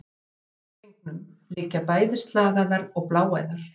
Í naflastrengnum liggja bæði slagæðar og bláæð.